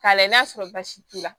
K'a lajɛ n'a sɔrɔ baasi t'u la